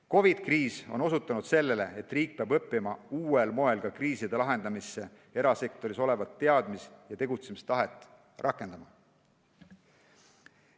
COVID-i kriis on osutanud sellele, et riik peab õppima uuel moel ka kriiside lahendamiseks erasektoris olevat teadmist ja tegutsemistahet rakendama.